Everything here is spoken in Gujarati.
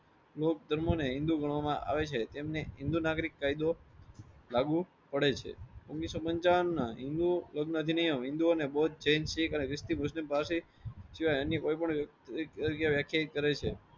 લોક ધર્મોને હિન્દૂ ગણવામાં આવે છે. તેમને હિન્દૂ નાગરિક કાયદો લાગુ પડે છે. ઓગણીસો પંચાવન ના હિંદુઓ હિંદુઓ અને બૌ અને જૈન શીખ પાસે સિવાય અન્ય કોઈ પણ વ્યક્તિ વ્યાખ્યાયિત કરે છે.